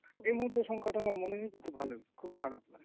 এই মুহূর্তে সংখ্যাটা আমার মনে নেই কিন্তু ভালোই খুব খারাপ না,